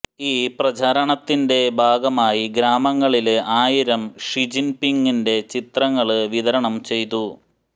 ഈ പ്രചാരണത്തിന്റെ ഭാഗമായി ഗ്രാമങ്ങളില് ആയിരം ഷിജിന്പിങിന്റെ ചിത്രങ്ങള് വിതരണം ചെയ്തു